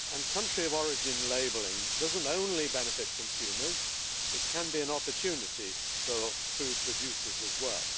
Country of origin labelling does not only benefit consumers, it can be an opportunity for food producers as well.